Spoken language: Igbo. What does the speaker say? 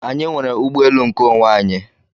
Anyị nwere ụgbọelu nkeonwe anyị.